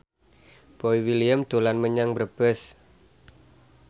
Boy William dolan menyang Brebes